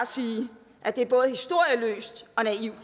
sige at det er både historieløst og naivt